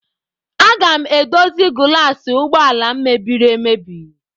Aga m edozi gulas ụgbọala m mebiri emebi.